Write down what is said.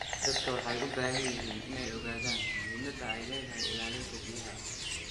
Dadku waxay u baahan yihiin inay ogaadaan muhiimadda ay leedahay ilaalinta biyaha.